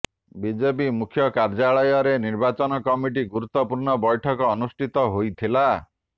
BJP ମୁଖ୍ୟକାର୍ଯ୍ୟାଳୟରେ ନିର୍ବାଚନ କମିଟିର ଗୁରୁତ୍ୱପୂର୍ଣ୍ଣ ବୈଠକ ଅନୁଷ୍ଠିତ ହୋଇଥିଲା